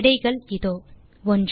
விடைகள் இதோ 1